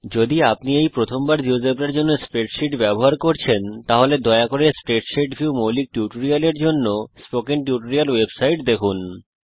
যদি আপনি এই প্রথমবার জীয়োজেব্রার জন্য স্প্রেডশীট ব্যবহার করছেন তাহলে দয়া করে স্প্রেডশীট ভিউ মৌলিক টিউটোরিয়ালের জন্য স্পোকেন টিউটোরিয়াল ওয়েবসাইট দেখুন